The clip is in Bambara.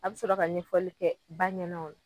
A bi sɔrɔ ka ɲɛfɔli kɛ ba ɲɛna